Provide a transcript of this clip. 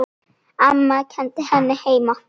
Amma kenndi henni heima.